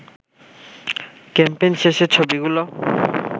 campaign শেষে ছবিগুলো